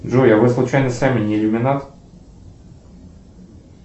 джой а вы случайно сами не иллюминат